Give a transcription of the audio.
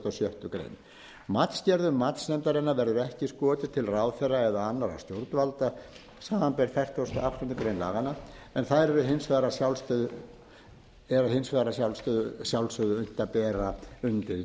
grein matsgerðum matsnefndarinnar verður ekki skotið til ráðherra eða annarra stjórnvalda samanber fertugustu og áttundu grein laganna en þær er hins vegar að sjálfsögðu unnt að bera undir